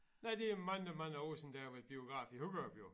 Nej det er mange mange år siden da jeg var i bografen i Hurup jo